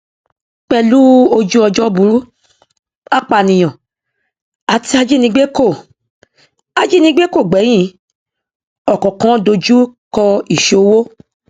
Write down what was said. pẹlú ojúọjọ burú apànìyàn àti ajínigbé kò ajínigbé kò gbẹyìn ọkọọkan dojúkọ ìṣówó